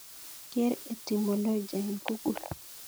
Ker etimolojia en google